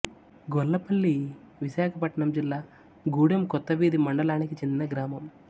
గొల్లపల్లి విశాఖపట్నం జిల్లా గూడెం కొత్తవీధి మండలానికి చెందిన గ్రామం